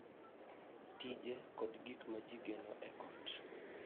Tije, kod gik ma ji geno e ot.